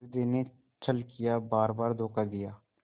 हृदय ने छल किया बारबार धोखा दिया